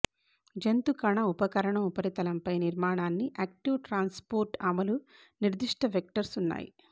జంతు కణ ఉపకరణం ఉపరితలంపై నిర్మాణాన్ని యాక్టివ్ ట్రాన్స్పోర్ట్ అమలు నిర్దిష్ట వెక్టర్స్ ఉన్నాయి